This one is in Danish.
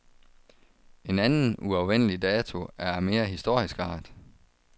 En anden, uafvendelig dato er af mere historisk art.